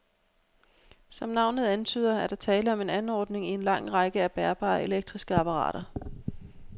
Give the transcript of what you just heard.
Som navnet antyder, er der tale om en anordning i en lang række af bærbare elektriske apparater.